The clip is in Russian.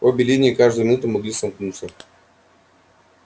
обе линии каждую минуту могли сомкнуться